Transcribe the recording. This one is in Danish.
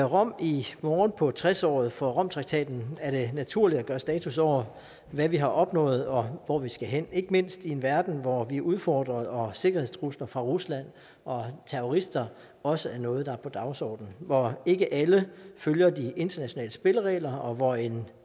rom i morgen på tres året for romtraktaten er det naturligt at gøre status over hvad vi har opnået og hvor vi skal hen ikke mindst i en verden hvor vi er udfordret og hvor sikkerhedstrusler fra rusland og terrorister også er noget der er på dagsordenen hvor ikke alle følger de internationale spilleregler og hvor en